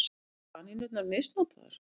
Voru kanínurnar misnotaðar?